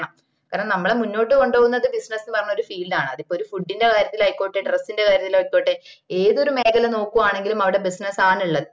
കാരണം നമ്മളെ മുന്നോട്ട് കൊണ്ടുവന്നത് business ന്ന് പറഞ്ഞ field ആണ് അതിപ്പോ ഒരു food ന്റെ കാര്യത്തിലായിക്കോട്ടെ dress ൻറെ കാര്യത്തിലായിക്കോട്ടെ ഏതൊരു മേഖല നോക്കുവാണേലും അവിടെ business ആണ് ഉള്ളത്